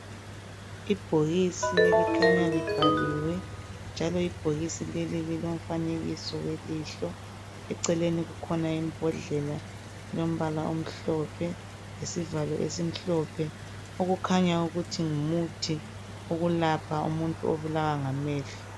Ibhokisi elikhanya libhaliwe njalo ibhokisi leli lilomfanekiso welihlo eceleni kukhona imbhodlela elombala omhlophe lesivalo esimhlophe okukhanya ukuthi ngumuthi okwelapha umuntu obulalwa ngamehlo.